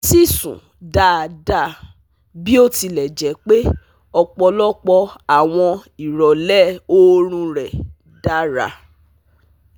O si sun daada, bi o tile je pe ọpọlọpọ awọn irọlẹ oorun rẹ dara